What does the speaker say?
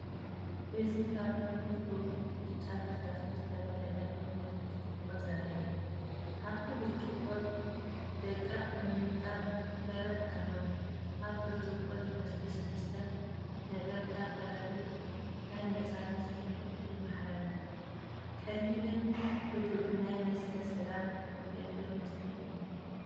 እዚ ካብ ጥርሙዝ ዝውሕዝ ብጫ ፈሳሲ ዝተመልአ ጥርሙዝ ብርጭቆ ዘርኢ እዩ። ኣብቲ ብርጭቆ ደቀቕቲ ንጣብ በረድ ኣለዉ። ኣብ ብርጭቆ ዝፈስስ መስተን ነጠብጣብ በረድን ናይ ናጽነት ስምዒት የመሓላልፍ። ቀሊልን ህዱእን ናይ መስተ ሰላም ዝገብር ምስሊ'ዩ።